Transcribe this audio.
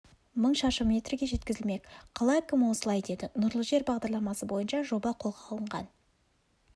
мың шаршы метрге жеткізілмек қала әкімі осылай деді нұрлы жер бағдарламасы бойынша жоба қолға алынған